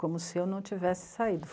Como se eu não tivesse saído.